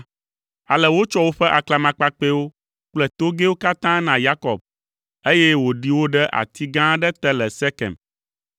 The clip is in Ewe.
Ale wotsɔ woƒe aklamakpakpɛwo kple togɛwo katã na Yakob, eye wòɖi wo ɖe ati gã aɖe te le Sekem.